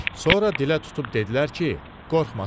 Sonra dilə tutub dedilər ki, qorxmasın.